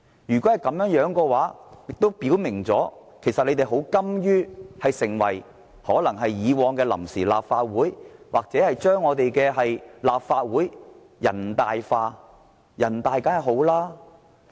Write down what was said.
如果是這樣，亦表明了建制派其實甘於讓立法會成為以往的臨時立法會或將立法會"人大化"。